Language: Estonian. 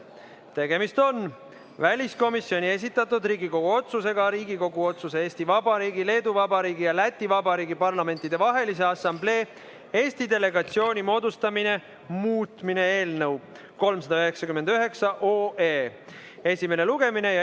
Tegemist on väliskomisjoni esitatud Riigikogu otsuse "Riigikogu otsuse "Eesti Vabariigi, Leedu Vabariigi ja Läti Vabariigi Parlamentidevahelise Assamblee Eesti delegatsiooni moodustamine" muutmine" eelnõu 399 esimese lugemisega.